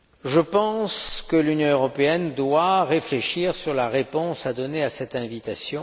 Je pense que l'Union européenne doit réfléchir à la réponse à donner à cette invitation.